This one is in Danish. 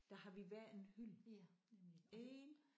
Der har vi hver en hylde. Én